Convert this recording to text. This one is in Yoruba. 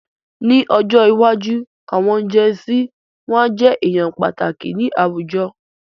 Ní ọjọ́ iwájú, àwọn jẹn sí wọn a jẹ èèyàn pàtàkì ni àwùjọ